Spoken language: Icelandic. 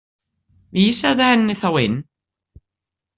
Vísaðu henni þá inn.